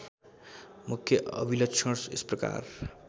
मुख्य अभिलक्षण यसप्रकार